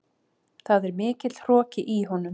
Það er mikill hroki í honum.